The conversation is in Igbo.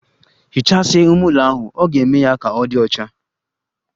Hichasia ime ụlo ahụ, ọ ga-eme ya ka ọ di ọcha